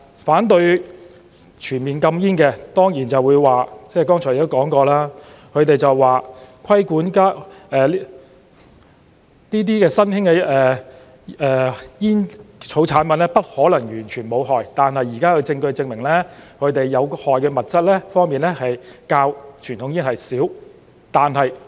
反對全面禁煙的，當然就會說——剛才亦說過了——他們說規管新興的煙草產品不可能完全無害，但現時的證據證明，它們的有害物質較傳統煙的少。